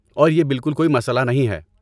اور یہ بالکل کوئی مسئلہ نہیں ہے۔